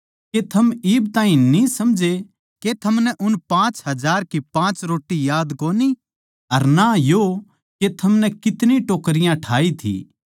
के थम इब ताहीं न्ही समझे के थमनै उन पाँच हजार की पाँच रोट्टी याद कोनी अर ना यो के थमनै कितनी टोकरियाँ ठाई थी